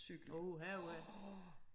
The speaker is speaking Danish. Uha uha